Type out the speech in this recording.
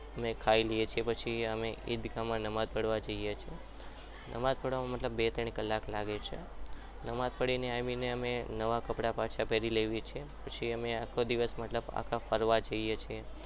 અમે ખાઈ લીએ છીએ અને ઈદમાં અમે નમાઝ પડવા જઈએ છીએ નમાજ પાડવા માટે બે થી ત્રણ કલાક થાય છે અને આવીને અમે નવા કપડા પહેરીએ છીએ પછી અમે આખો દિવસ ફરવા જઇએ છીએ